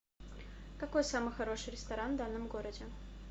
какой самый хороший ресторан в данном городе